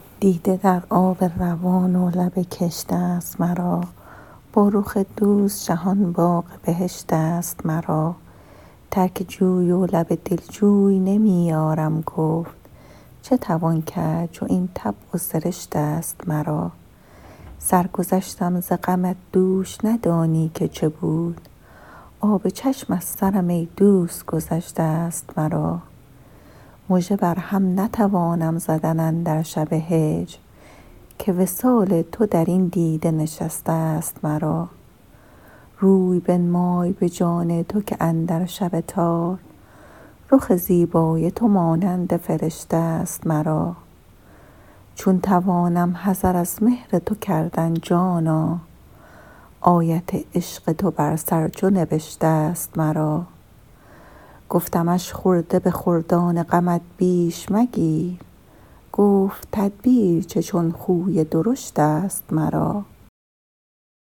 دیده در آب روان و لب کشتست مرا با رخ دوست جهان باغ بهشتست مرا ترک جوی و لب دلجوی نمی یارم گفت چه توان کرد چو این طبع و سرشتست مرا سرگذشتم ز غمت دوش ندانی که چه بود آب چشم از سرم ای دوست گذشته ست مرا مژه بر هم نتوانم زدن اندر شب هجر که وصال تو در این دیده نشسته ست مرا روی بنمای به جان تو که اندر شب تار رخ زیبای تو مانند فرشته ست مرا چون توانم حذر از مهر تو کردن جانا آیت عشق تو بر سر چو نبشته ست مرا گفتمش خرده به خردان غمت بیش مگیر گفت تدبیر چه چون خوی درشتست مرا